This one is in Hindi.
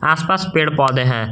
आस पास पेड़ पौधे हैं।